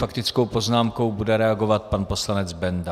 Faktickou poznámkou bude reagovat pan poslanec Benda.